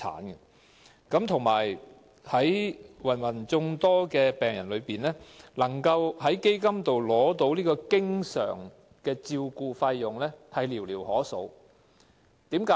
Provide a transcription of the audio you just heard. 再者，在芸芸病人之中，能夠透過基金取得經常照顧費用的人寥寥可數。